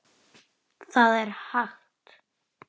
Það er hægt.